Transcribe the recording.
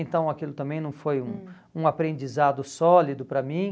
Então aquilo também não foi um, hum, um aprendizado sólido para mim.